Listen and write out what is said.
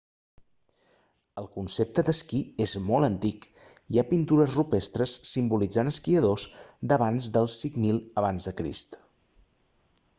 el concepte de l'esquí és molt antic  hi ha pintures rupestres simbolitzant esquiadors d'abans del 5000 ac!